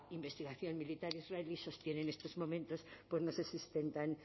investigación militar israelí sostiene en estos momentos no se sustentan